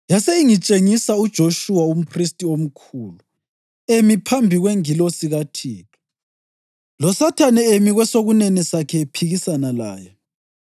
Yase ingitshengisa uJoshuwa umphristi omkhulu emi phambi kwengilosi kaThixo, loSathane emi kwesokunene sakhe ephikisana laye.